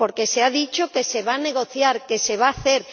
Porque se ha dicho que se va a negociar, que se va a hacer.